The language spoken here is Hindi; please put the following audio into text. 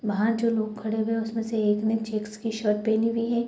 वहाँ जो लोग खड़े हुए है उसमे से एक ने चेक्स की शर्ट पहनी हुई है ।